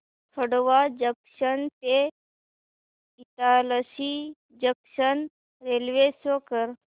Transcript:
Khandwa junction ते Itarsi junction railway show कर